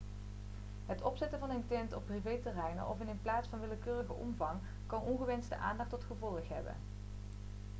het opzetten van een tent op privéterrein of in een plaats van willekeurige omvang kan ongewenste aandacht tot gevolg hebben